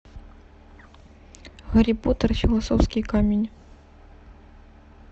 гарри поттер и философский камень